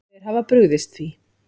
Þeir hafa brugðist því.